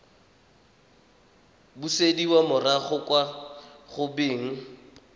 busediwa morago kwa go beng